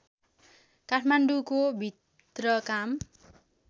काठमाडौँको भित्र काम